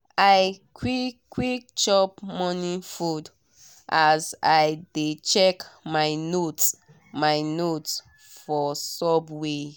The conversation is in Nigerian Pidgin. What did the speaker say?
i quick quick chop morning food as i dey check my notes my notes for subway.